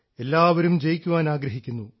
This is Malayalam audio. എല്ലാവരും ജയിക്കുവാൻ ആഗ്രഹിക്കുന്നു